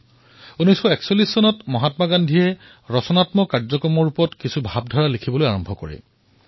১৯৪১ চনত মহাত্মা গান্ধীয়ে কনষ্ট্ৰাক্টিভ প্ৰগ্ৰামে অৰ্থাৎ গঠনাত্মক কাৰ্যক্ৰমৰ ৰূপত কিছুমান চিন্তাধাৰাৰ কথা লিখা আৰম্ভ কৰিলে